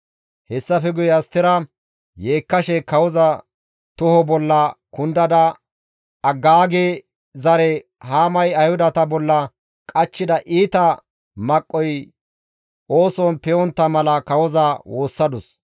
Hessafe guye Astera yeekkashe kawoza toho bolla kundada Agaage zare Haamay Ayhudata bolla qachchida iita maqqoy ooson pe7ontta mala kawoza woossadus.